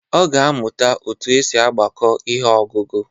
Ọ ga-amuta otu esi agbako ihe ọgụgụ.